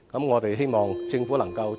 我們希望政府能夠......